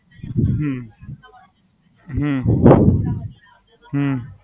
હમ હમ હમ